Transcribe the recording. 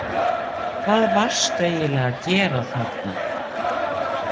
Hvað varstu eiginlega að gera þarna?